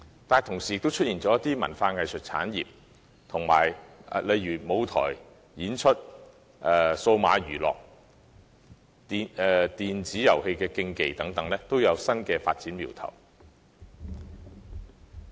與此同時，本港亦出現了一些文化技術產業，例如舞台、演出、數碼娛樂及電子遊戲競技等新發展苗頭。